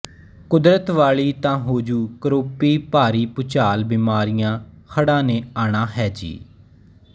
ਕੁਦਰਤ ਵਾਲੀ ਤਾ ਹੋਜੂ ਕਰੋਪੀ ਭਾਰੀਭੁਚਾਲ ਬਿਮਾਰੀਆ ਹੜਾ ਨੇ ਆਣਾ ਹੈ ਜੀ